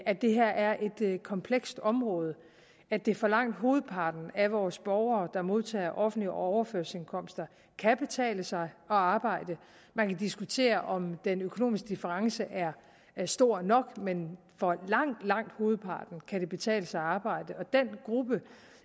at det her er et komplekst område og at det for langt hovedparten af vores borgere der modtager offentlige overførselsindkomster kan betale sig at arbejde man kan diskutere om den økonomiske difference er stor nok men for langt langt hovedparten kan det betale sig at arbejde og den gruppe